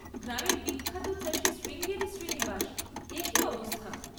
গ্রামের বিখ্যাত চাষী শ্রীঙ্গেরি শ্রীনিবাস, এ কী অবস্থা!